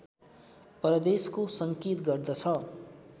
परदेशको सङ्केत गर्दछ